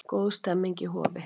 Góð stemning í Hofi